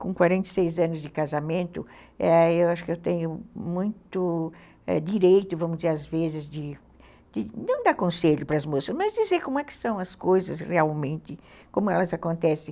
Com quarenta e seis anos de casamento, eu acho que eu tenho muito direito, vamos dizer, às vezes, de não dar conselho para as moças, mas dizer como é que são as coisas realmente, como elas acontecem.